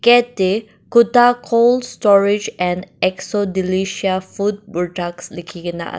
Gate dae Kuda cold storage and Exodelicia food products lekhikena ase.